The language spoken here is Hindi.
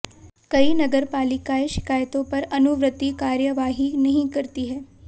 कई नगरपालिकाएं शिकायतों पर अनुवर्ती कार्यवाही नहीं करती हैं